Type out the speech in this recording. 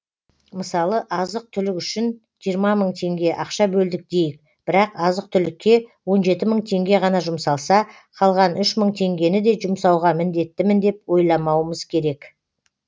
мысалы азық түлік үшін жиырма мың теңге ақша бөлдік дейік бірақ азық түлікке он жеті мың теңге ғана жұмсалса қалған үш мың теңгені де жұмсауға міндеттімін деп ойламауымыз керек